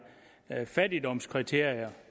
fattigdomskriterier